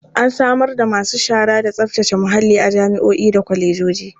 An samar da masu shara da tsaftace muhalli a jami'o'i da kwalejoji.